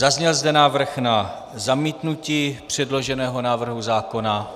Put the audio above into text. Zazněl zde návrh na zamítnutí předloženého návrhu zákona.